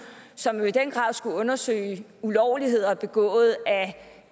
som jo i den grad skulle undersøge ulovligheder begået